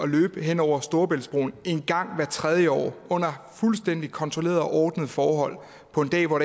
løbe hen over storebæltsbroen en gang hvert tredje år under fuldstændig kontrollerede og ordnede forhold på en dag hvor